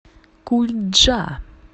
кульджа